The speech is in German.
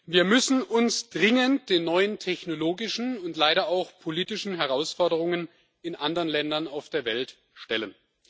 Wir müssen uns dringend den neuen technologischen und leider auch politischen Herausforderungen in anderen Ländern auf der Welt stellen.